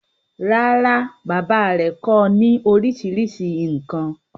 rárá, bàbá rẹ̀ kọ́ ọ ní orísirísi nǹkan.